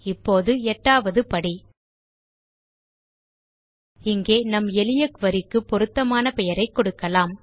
இப்போது எட்டாவது படி இங்கே நம் எளிய குரி க்கு பொருத்தமான பெயரை கொடுக்கலாம்